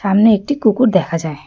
সামনে একটি কুকুর দেখা যায়।